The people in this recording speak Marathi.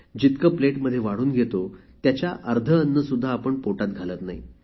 जितके प्लेटमध्ये वाढून घेतो त्याच्या अर्ध अन्न सुद्धा आपण पोटात घालत नाही